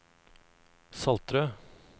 Saltrød